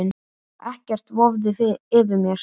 Ekkert vofði yfir mér.